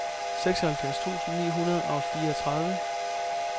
seksoghalvfjerds tusind ni hundrede og fireogtredive